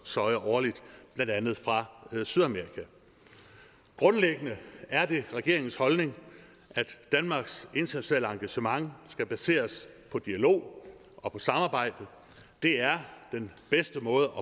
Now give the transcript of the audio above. soja årligt blandt andet fra sydamerika grundlæggende er det regeringens holdning at danmarks internationale engagement skal baseres på dialog og på samarbejde for det er den bedste måde